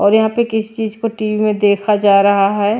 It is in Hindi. और यहां पे किस चीज को टी_वी में देखा जा रहा है।